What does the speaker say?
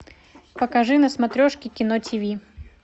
покажи на смотрешке кино ти ви